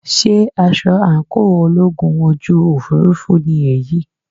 Sé aṣọ àńkò ológun ojú òfurufú ni èyí?